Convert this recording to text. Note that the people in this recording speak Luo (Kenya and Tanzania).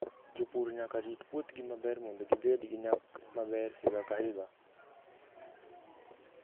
Jopur nyaka rit puothgi maber mondo gibed gi nyak maber higa ka higa.